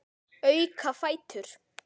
Auka fætur.